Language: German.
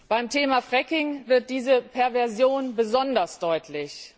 Beim Thema Fracking wird diese Perversion besonders deutlich.